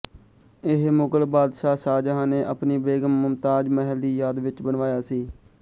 ਇਹ ਮੁਗਲ ਬਾਦਸ਼ਾਹ ਸ਼ਾਹਜਹਾਂ ਨੇ ਆਪਣੀ ਬੇਗਮ ਮੁਮਤਾਜ ਮਹਲ ਦੀ ਯਾਦ ਵਿੱਚ ਬਣਵਾਇਆ ਸੀ